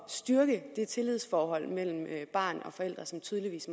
styrke det tillidsforhold mellem barn og forældre som tydeligvis